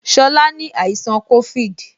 Shola ni àìsàn covid